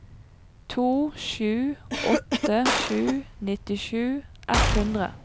to sju åtte sju nittisju ett hundre